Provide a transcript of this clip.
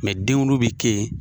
denkundi bi kɛ yen.